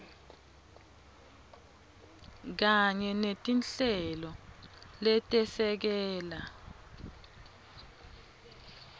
kanye netinhlelo letesekela